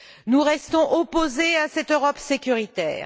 Nous restons opposés à cette Europe sécuritaire.